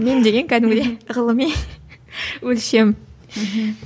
мем деген кәдімгідей ғылыми өлшем мхм